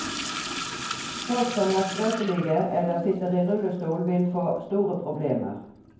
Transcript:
Folk som er skrøpelige eller sitter i rullestol, vil få store problemer.